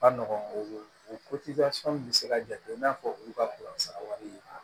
Ka nɔgɔn o bɛ se ka jate i n'a fɔ olu ka sara wari ye